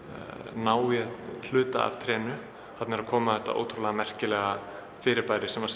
ná í hluta af trénu þarna er að koma þetta ótrúlega merkilega fyrirbæri sem